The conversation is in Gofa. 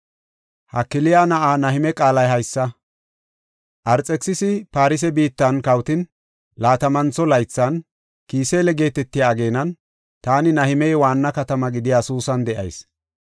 Hakaliya na7aa Nahime qaalay haysa. Arxekisisi Farse biittan kawotin laatamantho laythan, Kisile geetetiya ageenan, taani Nahimey waanna katama gidiya Suusan de7ayis.